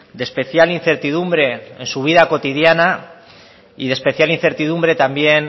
de especial incertidumbre en su vida cotidiana y de especial incertidumbre